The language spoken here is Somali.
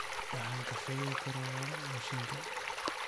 Waxaan kafeega ka rabaa mishiinka